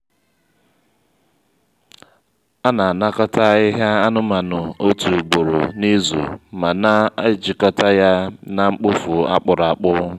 a na-anakọta ahịhịa anụmanụ otu ugboro n’izu ma na-ejikọta ya na mkpofu a kpụkwara akpụ.